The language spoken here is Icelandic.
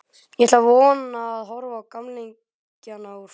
Ég ætla svona að horfa á gamlingjana úr fjarlægð.